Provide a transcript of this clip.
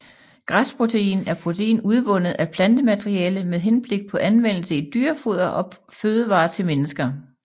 Græsprotein er protein udvundet af plantemateriale med henblik på anvendelse i dyrefoder og fødevarer til mennesker